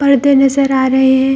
परदे नजर आ रहें हैं।